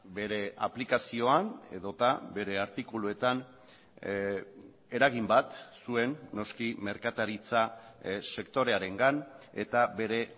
bere aplikazioan edota bere artikuluetan eragin bat zuen noski merkataritza sektorearengan eta bere